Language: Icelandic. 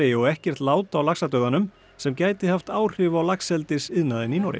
og ekkert lát á sem gæti haft áhrif á laxeldisiðnaðinn í Noregi